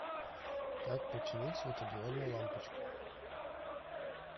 как починить светодиодную лампочку